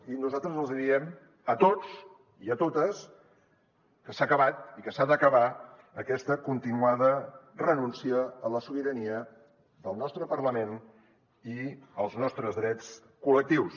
i nosaltres els diem a tots i a totes que s’ha acabat i que s’ha d’acabar aquesta continuada renúncia a la sobirania del nostre parlament i dels nostres drets col·lectius